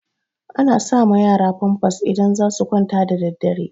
Ana sa ma yara famfas idan za su kwanta da daddare